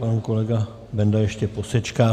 Pan kolega Benda ještě posečká.